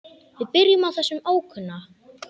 Við byrjum á þessum ókunna.